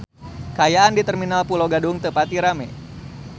Kaayaan di Terminal Pulo Gadung teu pati rame